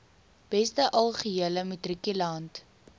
beste algehele matrikulant